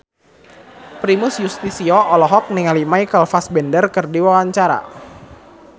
Primus Yustisio olohok ningali Michael Fassbender keur diwawancara